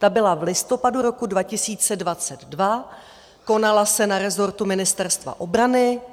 Ta byla v listopadu roku 2022, konala se na rezortu Ministerstva obrany.